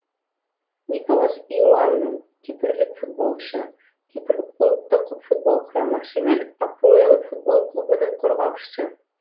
николас иоанну кипрлік футболшы кипр ұлттық футбол құрамасы мен апоэл футбол клубының қорғаушысы